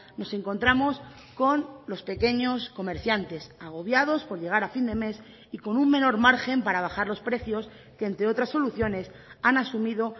nos encontramos con los pequeños comerciantes agobiados por llegar a fin de mes y con un menor margen para bajar los precios que entre otras soluciones han asumido